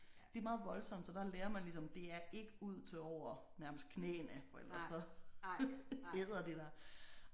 Det er meget voldsomt så der lærer man ligesom det er ikke ud til over nærmest knæene for ellers så æder det dig